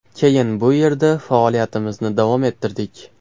Keyin bu yerda faoliyatimizni davom ettirdik.